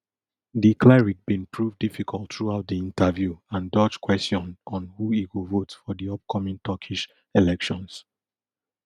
di cleric bin prove difficult throughout di interview and dodge kwesion on who e go vote for di upcoming turkish elections